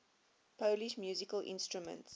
polish musical instruments